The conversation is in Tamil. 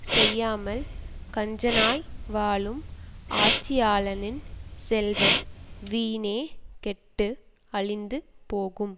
செய்யாமல் கஞ்சனாய் வாழும் ஆட்சியாளனின் செல்வம் வீணே கெட்டு அழிந்து போகும்